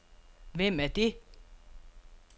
Hvem er det